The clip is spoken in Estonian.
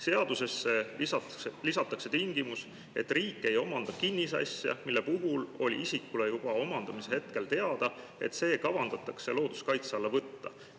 "Seadusesse lisatakse tingimus, et riik ei omanda kinnisasja, mille puhul oli isikule juba omandamise hetkel teada, et see kavandatakse looduskaitse alla võtta.